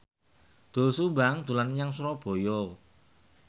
Doel Sumbang dolan menyang Surabaya